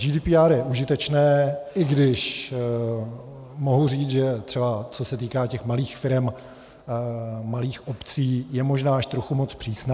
GDPR je užitečné, i když mohu říct, že třeba co se týká těch malých firem, malých obcí, je možná až trochu moc přísné.